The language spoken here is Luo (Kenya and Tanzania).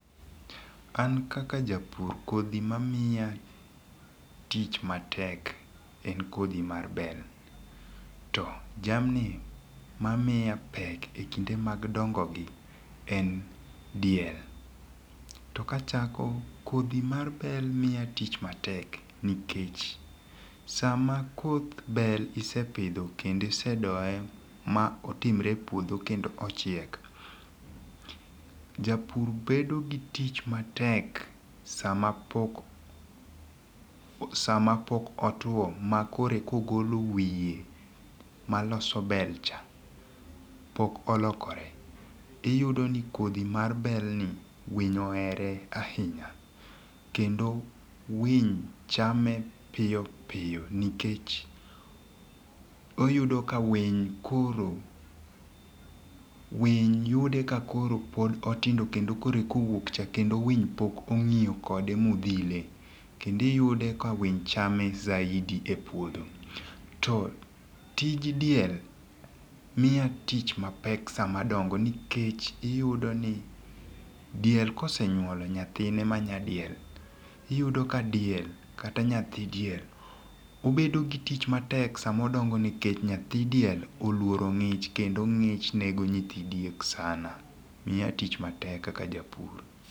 An kaka japur, kodhi mamiya tich matek en kodhi mar bel, to jamni mamiya pek e kinde mag dongogi en diel. To kachako, kodhi mar bel miya tich matek nikech, sama koth bel isepidho kendo isedoye ma otimre e puodho kendo ochiek, japur bedo gi tich matek sama pok, sama pok otwo, ma koreka ogolo wiye maloso bel cha, pok olokore, iyudo ni kodhi mar bel ni, winy ohere ahinya, kendo winy chame piyo piyo, nikech oyudo ka winy koro, winy yude ka koro pod otindo, kendo koro eka owuok cha, kendo winy pok ongíyo kode modhile, kendo iyude ka winy chame zaidi e puodho. To tij diel miya tich mapek sama dongo, nikech iyudo ni diel kosenyuolo nyathine ma nyadiel, iyudo ka diel kata nyathi diel, obedo gi tich matek sama odongo nikech nyathi diel oluoro ngích, kendo ngích nego nyithi diek sana, miya tich matek kaka japur.